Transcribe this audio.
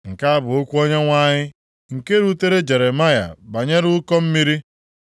Nke a bụ okwu Onyenwe anyị, nke rutere Jeremaya banyere ụkọ mmiri.